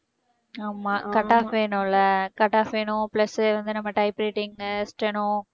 ஆமாம் cut off வேணும்ல்ல cut off வேணும் plus வந்து நம்ம typewriting, steno